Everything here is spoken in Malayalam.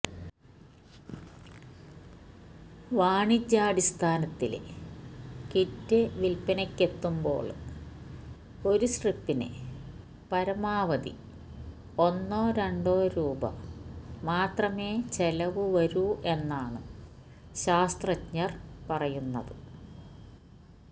വാണിജ്യാടിസ്ഥാനത്തില് കിറ്റ് വില്പ്പനയ്ക്കെത്തുമ്പോള് ഒരു സ്ട്രിപ്പിന് പരമാവധി ഒന്നോ രണ്ടോ രൂപ മാത്രമേ ചെലവു വരൂ എന്നാണ് ശാസ്ത്രജ്ഞര് പറയുന്നത്്